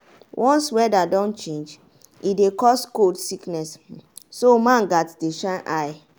once weather don change e dey cause cold sickness so man gats dey shine eye.